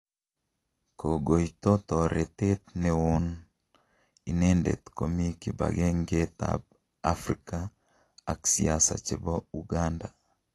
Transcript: Kogoito Toretet newon oo inendet komi kibagengetab Afrika ak Siasa chebo Ukanda.